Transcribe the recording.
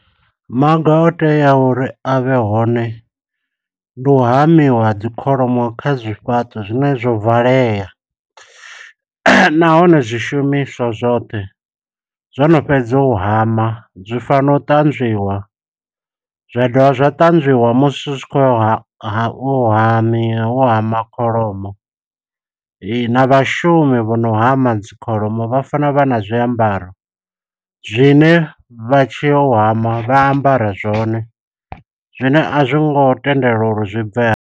Maga o teaho uri a vhe hone, ndi u hamiwa ha dzi kholomo kha zwifhaṱo zwine zwo valea. Nahone zwi shumiswa zwoṱhe, zwono fhedza u hama, zwi fanela u ṱanzwiwa. Zwa dovha zwa ṱanzwiwa musi zwi khou ya ha, ha u hami, u hama kholomo, na vhashumi vho no hama dzi kholomo. Vha fana vha na zwiambaro zwine, vha tshiyo u hama vha ambara zwone, zwine a zwi ngo tendelwa uri zwi bveha.